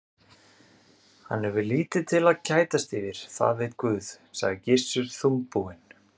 Hann hefur lítið til að kætast yfir, það veit Guð, sagði Gissur þungbúinn.